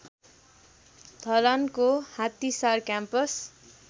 धरानको Hattisar campus